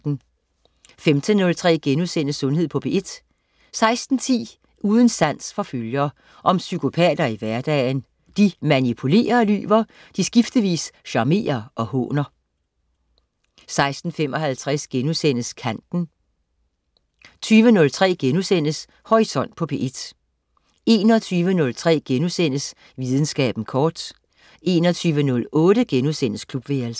15.03 Sundhed på P1* 16.10 Uden sans for følger. Om psykopater i hverdagen. De manipulerer og lyver, de skiftevis charmerer og håner 16.55 Kanten* 20.03 Horisont på P1* 21.03 Videnskaben kort* 21.08 Klubværelset*